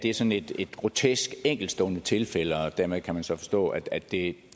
er sådan et grotesk enkeltstående tilfælde og dermed kan man så forstå at det